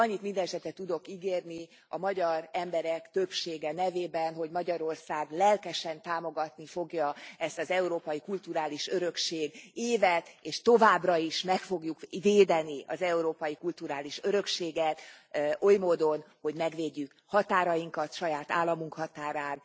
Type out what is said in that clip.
Annyit mindenesetre tudok ígérni a magyar emberek többsége nevében, hogy Magyarország lelkesen támogatni fogja ezt az európai kulturális örökség évet és továbbra is meg fogjuk védeni az európai kulturális örökséget oly módon, hogy megvédjük határainkat, saját államunk határát